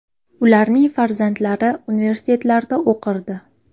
Ularning farzandlari universitetlarda o‘qirdi.